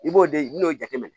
I b'o de i n'o jateminɛ